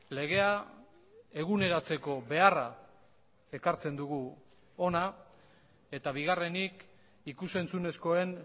legea eguneratzeko beharra ekartzen dugu hona eta bigarrenik ikus entzunezkoen